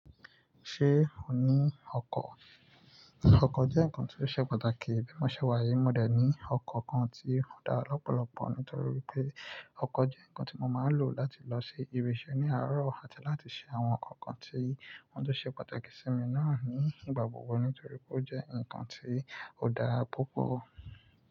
Ṣé o ní ọkọ̀? Ọkọ̀ jẹ́ nǹkan tí ó ṣe pàtàkì. Bímọ ṣẹ́ wáyé, mo dẹ̀ ní ọkọ̀ kan tí ó dára lọ́pọ̀lọpọ̀ nítorí pé ọkọ̀ jẹ́ nǹkan tí mo máa ń lò láti lọ ṣe ìbì isẹ̀ ní àárọ̀ àti láti ṣe àwọn nǹkan tí wọ́n ṣe pàtàkì sí mi náà ní ìgbà gbogbo nítorí pé ó jẹ́ nǹkan tí ó dára púpọ̀.